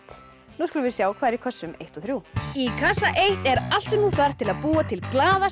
nú skulum við sjá hvað er í kössum eins og þriðja í kassa einum er allt sem þú þarft til að búa til